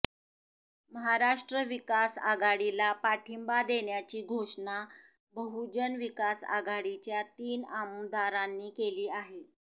महाराष्ट्र विकास आघाडीला पाठींबा देण्याची घोषणा बहुजन विकास आघाडीच्या तीन आमदारांनी केली आहे